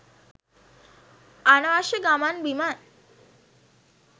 අනවශ්‍ය ගමන් බිමන්